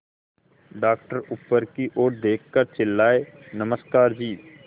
doctor ऊपर की ओर देखकर चिल्लाए नमस्कार जी